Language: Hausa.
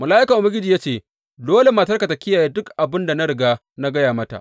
Mala’ikan Ubangiji ya ce, Dole matarka ta kiyaye duk abin da na riga na gaya mata.